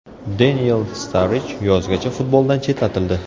Deniel Starrij yozgacha futboldan chetlatildi.